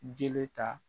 Jeli ta